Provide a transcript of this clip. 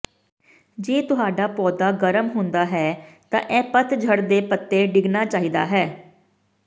ਜੇ ਤੁਹਾਡਾ ਪੌਦਾ ਗਰਮ ਹੁੰਦਾ ਹੈ ਤਾਂ ਇਹ ਪਤਝੜ ਦੇ ਪੱਤੇ ਡਿੱਗਣਾ ਚਾਹੀਦਾ ਹੈ